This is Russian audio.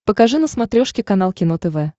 покажи на смотрешке канал кино тв